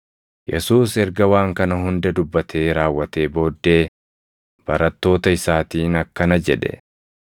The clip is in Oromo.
Yesuus erga waan kana hunda dubbatee raawwatee booddee barattoota isaatiin akkana jedhe;